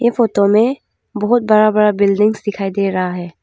इ फोतो में बहुत बरा बरा बिल्डिंग्स दिखाई दे रहा है।